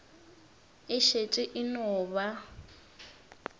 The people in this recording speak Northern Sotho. e šetše e no ba